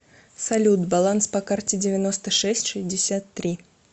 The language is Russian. салют баланс по карте девяносто шесть шестьдесят три